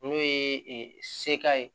N'o ye seka ye